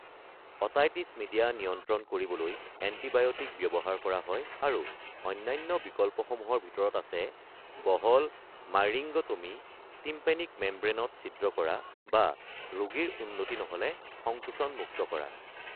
Otitis media নিয়ন্ত্ৰণ কৰিবলৈ antibiotic ব্যৱহাৰ কৰা হয় আৰু অন্যান্য বিকল্পসমূহৰ ভিতৰত আছে বহল মাইৰিঙ্গ'টমী (টিম্পানিক মেমব্ৰেনত ছিদ্ৰ কৰা) বা ৰোগীৰ উন্নতি নহ'লে সংকোচন মুক্ত কৰা।